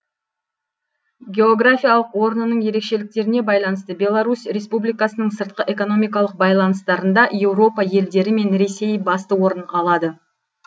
географиялық орнының ерешеліктеріне байланысты беларусь республикасының сыртқы экономикалық байланыстарында еуропа елдері мен ресей басты орын алады